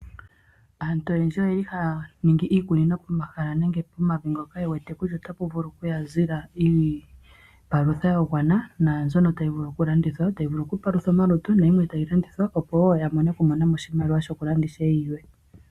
Aantu oyendji oyeli haya ningi iikunino pomahala nenge pomavi mpoka yewete kutya otapa vulu okuya zila iipalutha yagwana naanzono tayi vulu okulandithwa tayi vulu okupalutha omalutu nayimwe tayi landithwa opo woo yavule okumonamo oshimaliwa shokulanda ishewe yilwe.